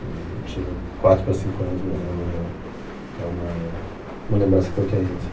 Hum, eu tinha quatro para cinco anos, mas é uma é uma uma lembrança que eu tenho, assim.